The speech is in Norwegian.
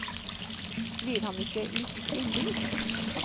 Blir han ikke litt innbilsk?